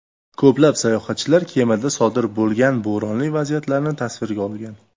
Ko‘plab sayohatchilar kemada sodir bo‘lgan bo‘ronli vaziyatlarni tasvirga olgan.